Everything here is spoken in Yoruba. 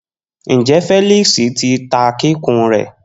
Njẹ Felix ti ta kikun rẹ?